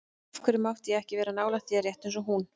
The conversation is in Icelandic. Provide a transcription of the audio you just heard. Af hverju mátti ég ekki vera nálægt þér, rétt eins og hún?